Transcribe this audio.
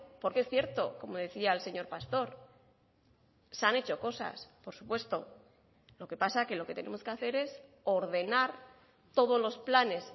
porque es cierto como decía el señor pastor se han hecho cosas por supuesto lo que pasa que lo que tenemos que hacer es ordenar todos los planes